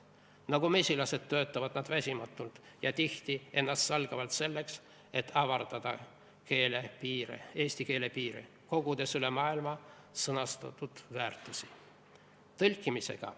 Nagu mesilased töötavad nad väsimatult ja tihti ennastsalgavalt selleks, et avardada eesti keele piire, kogudes üle maailma sõnastatud väärtusi.